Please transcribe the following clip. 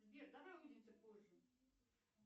сбер давай увидимся позже